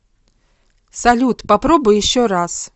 салют попробуй еще раз